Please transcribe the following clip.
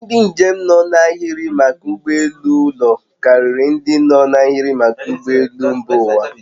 Ndị njem nọ n'ahịrị maka ụgbọ elu ụlọ karịrị ndị no n'ahiri maka ụgbọ elu mba ụwa